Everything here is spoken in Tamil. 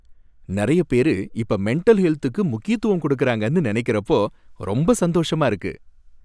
நறையப் பேரு இப்ப மெண்டல் ஹெல்த்துக்கு முக்கியத்துவம் கொடுக்காறாங்கன்னு நனைக்கறப்போ ரொம்ப சந்தோஷமா இருக்கு.